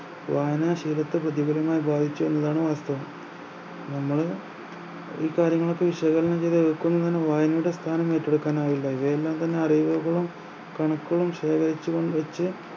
ബുദ്ധിപരമായി ഉപയോഗിച്ചു എന്നതാണ് വാസ്തവം നമ്മള് ഈ കാര്യങ്ങളൊക്കെ വിശകലനം ചെയ്ത അറിവുകളും കണക്കുകളും ശേഖരിച്ച് കോ വെച്ച്